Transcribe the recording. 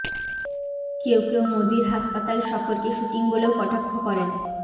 কেউ কেউ মোদীর হাসপাতাল সফরকে শুটিং বলেও কটাক্ষ করেন